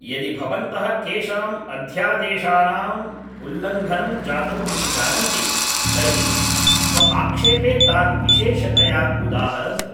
यदि भवन्तः केषाम् अध्यादेशानाम् उल्लङ्घनं जातम् इति जानन्ति तर्हि स्वआक्षेपे तान् विशेषतया उदाहरन्तु